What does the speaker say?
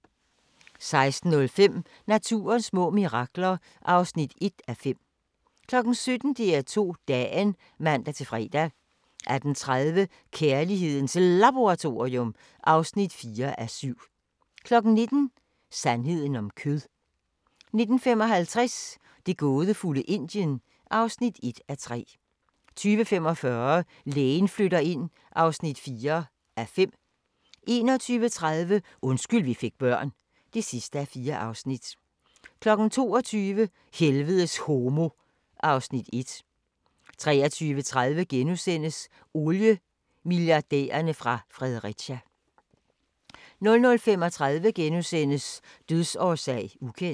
16:05: Naturens små mirakler (1:5) 17:00: DR2 Dagen (man-fre) 18:30: Kærlighedens Laboratorium (4:7) 19:00: Sandheden om kød 19:55: Det gådefulde Indien (1:3) 20:45: Lægen flytter ind (4:5) 21:30: Undskyld vi fik børn (4:4) 22:00: Helvedes homo (Afs. 1) 23:30: Oliemilliardærerne fra Fredericia * 00:35: Dødsårsag: ukendt *